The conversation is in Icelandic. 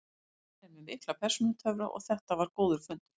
Hann er með mikla persónutöfra og þetta var góður fundur.